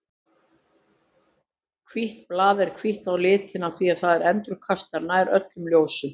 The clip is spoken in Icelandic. Hvítt blað er hvítt á litinn af því að það endurkastar nær öllu ljósinu.